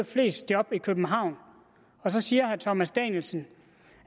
flest job i københavn så siger herre thomas danielsen